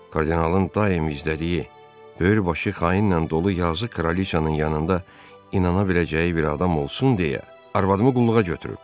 Kardinalın daimi izlədiyi, böyürbaşı xainlə dolu yazıq kralıçanın yanında inana biləcəyi bir adam olsun deyə arvadımı qulluğa götürüb.